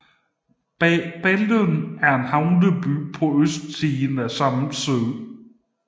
Ballen er en havneby på østsiden af Samsø